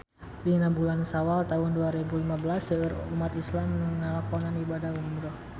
Dina bulan Sawal taun dua rebu lima belas seueur umat islam nu ngalakonan ibadah umrah